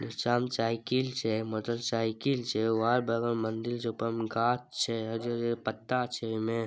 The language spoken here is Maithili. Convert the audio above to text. नीचा मे साइकिल छै मोटर साइकिल छै एगो आर बगल मे मंदिर छै ऊपर मे गाछ छै हरियर-हरियर पत्ता छै ओय मे।